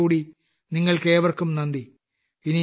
ഒരിക്കൽക്കൂടി നിങ്ങൾക്കേവർക്കും നന്ദി